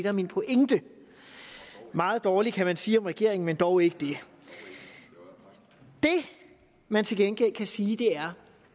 er min pointe meget dårligt kan man sige om regeringen men dog ikke det det man til gengæld kan sige er